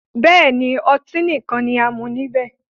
Bẹ́ẹ̀ni, ọtí nìkan ni a mú níbẹ̀